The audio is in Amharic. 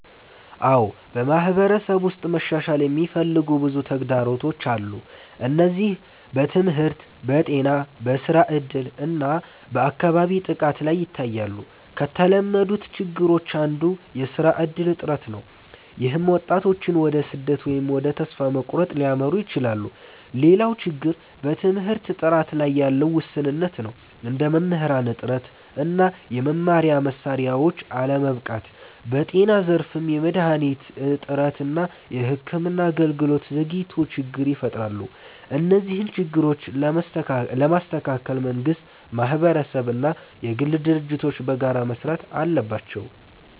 አዎ፣ በማህበረሰብ ውስጥ መሻሻል የሚፈልጉ ብዙ ተግዳሮቶች አሉ። እነዚህ በትምህርት፣ በጤና፣ በስራ እድል እና በአካባቢ ጥበቃ ላይ ይታያሉ። ከተለመዱት ችግሮች አንዱ የስራ እድል እጥረት ነው፣ ይህም ወጣቶችን ወደ ስደት ወይም ወደ ተስፋ መቁረጥ ሊያመራ ይችላል። ሌላው ችግር በትምህርት ጥራት ላይ ያለ ውስንነት ነው፣ እንደ መምህራን እጥረት እና የመማሪያ መሳሪያዎች አለመበቃት። በጤና ዘርፍም የመድሃኒት እጥረት እና የሕክምና አገልግሎት ዘግይቶች ችግር ይፈጥራሉ። እነዚህን ችግሮች ለመስተካከል መንግስት፣ ማህበረሰብ እና የግል ድርጅቶች በጋራ መስራት አለባቸው።